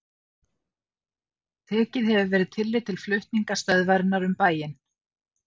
Tekið hefur verið tillit til flutninga stöðvarinnar um bæinn.